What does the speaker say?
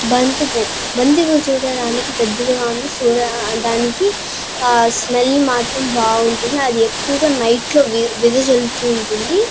బంతిపువ్వు బంతిపువ్వు చూడడానికి పెద్దదిగ ఉంది చూడడానికి ఆ స్మెల్ మాత్రం బావుంటుంది అది ఎక్కువుగా నైట్ లో వి విదజల్లుతూ ఉంటుంది.